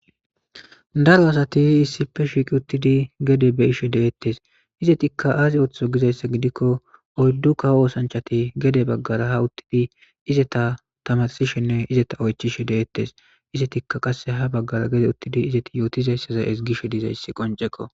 daro asati issipe shiqi uttidi gede be ishe deettes izetikka aazi ooththo gizayssa gidikko oyddu kawo oosanchati gede baggara ha uttidi izeta tamarsishenne izeta oychishe deettes izetikka qasse ha baggara gede uttidi izeti yootizayssaza esgishe dizayssi qonceko